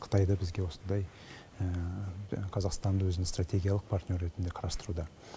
қытай да бізге осындай қазақстанды өзінің стратегиялық партнеры ретінде қарастыруда